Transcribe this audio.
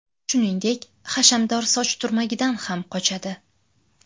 Shuningdek, hashamdor soch turmagidan ham qochadi.